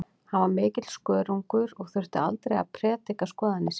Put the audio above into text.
Hann var mikill skörungur og þurfti aldrei að prédika skoðanir sínar.